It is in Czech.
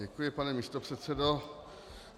Děkuji, pane místopředsedo.